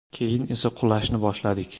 Keyin esa qulashni boshladik.